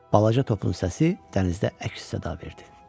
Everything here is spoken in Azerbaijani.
Balaca topun səsi dənizdə əks-səda verdi.